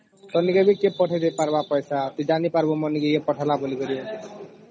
ଖାଲି ଖାଲି କେରେ ପଠେଇ ପାରିବ ପଇସା ତୁ ଜାଣି ପାରିବୁ ମାନେ ୟେ ପଠେଇଲା ବଳିକିରି